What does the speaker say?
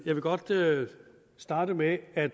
jeg vil godt starte med at